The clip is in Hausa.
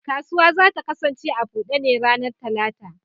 Kasuwa za ta kasance a bude ne a ranar Talata.